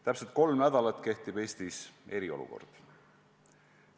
Täpselt kolm nädalat on Eestis kehtinud eriolukord.